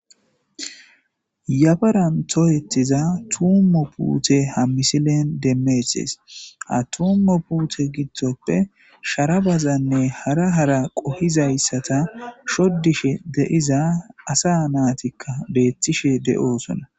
yafaran toyetiza tummo puute ha misilen demmeehes ha tummo puute gidtoppe sharabazanne hara hara qohizayssata shoddishe de7iza asa naatikka beethtishe de7oosona